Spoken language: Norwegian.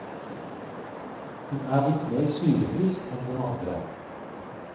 Den er litt mer syrefrisk enn den andre.